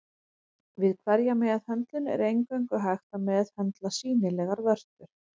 Við hverja meðhöndlun er eingöngu hægt að meðhöndla sýnilegar vörtur.